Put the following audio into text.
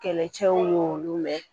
Kɛlɛcɛw y'olu mɛn